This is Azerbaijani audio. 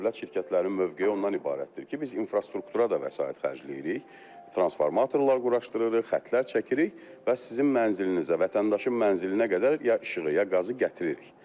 Dövlət şirkətlərinin mövqeyi ondan ibarətdir ki, biz infrastruktura da vəsait xərcləyirik, transformatorlar quraşdırırıq, xəttlər çəkirik və sizin mənzilinizə, vətəndaşın mənzilinə qədər ya işığı, ya qazı gətiririk.